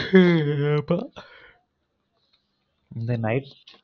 ஹிஹ ஆமா இந்த night ல